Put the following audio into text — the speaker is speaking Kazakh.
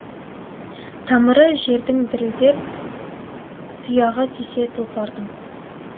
тамыры жердің дірілдеп тұяғы тисе тұлпардың